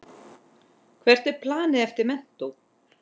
Hvert er planið eftir menntó?